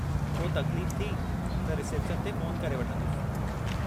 को तकलीफ़ थी , त रिसेप्शन ते फ़ोन करे वठंदुसि।